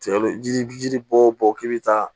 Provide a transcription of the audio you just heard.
Ji ji bɔ bɔ k'i bi taa